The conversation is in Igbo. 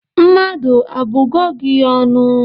Mmadu abugo gi ọnụ?